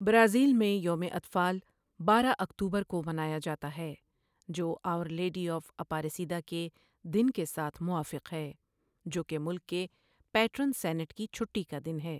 Brazil میں، یوم اطفال بارہ اکتوبر کو منایا جاتا ہے، جو آؤر لیڈی آف اپاریسیدا کے دن کے ساتھ موافق ہے، جو کہ ملک کے پیٹرون سینٹ کی چھٹی کا دن ہے۔